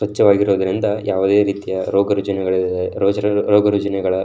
ಸ್ವಚ್ಛವಾಗಿರುವುದರಿಂದ ಯಾವುದೇ ರೀತಿಯ ರೋಗ ರುಜಿನೆಗಳ ರೋಗ ರುಜಿನಗಳ --